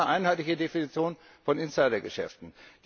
Wir haben jetzt eine einheitliche Definition von Insider Geschäften.